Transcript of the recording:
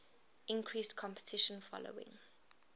increased competition following